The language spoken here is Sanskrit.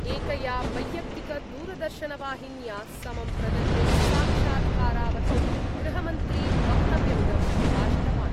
एकया वैयक्तिकदूरदर्शनवाहिन्या समं प्रदत्ते साक्षात्कारावधौ गृहमन्त्री वक्तव्यमिदं प्रकाशितवान्।